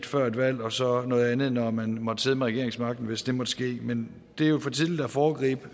før et valg og så noget andet når man måtte sidde med regeringsmagten hvis det måtte ske men det er jo for tidligt at foregribe